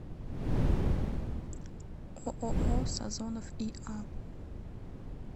ооо сазонов иа